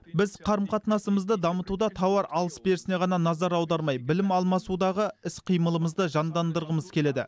біз қарым қатынасымызды дамытуда тауар алыс берісіне ғана назар аудармай білім алмасудағы іс қимылымызды жандандырғымыз келеді